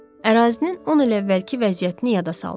Ərazinin 10 il əvvəlki vəziyyətini yada saldım.